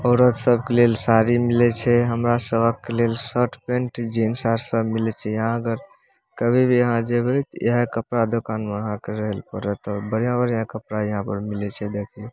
औरत सब के लेल साड़ी मिले छै हमरा सभक लेल शर्ट पैंट जीन्स आर सब मिले छै यहां अगर कभी भी यहां जेबे ते इहे कपड़ा दुकान में आहां के रहल परत और बढ़िया-बढ़िया कपड़ा यहां पर मिले छै देखी।